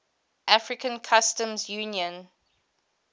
african customs union